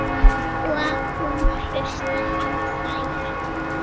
Og hún hlustar á þær.